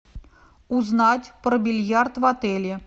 узнать про бильярд в отеле